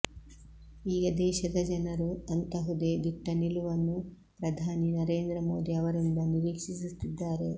ಈಗ ದೇಶದ ಜನರು ಅಂತಹುದೇ ದಿಟ್ಟ ನಿಲುವನ್ನು ಪ್ರಧಾನಿ ನರೇಂದ್ರ ಮೋದಿ ಅವರಿಂದ ನಿರಿಕ್ಷೀಸುತ್ತಿದ್ದಾರೆ